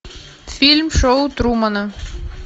фильм шоу трумана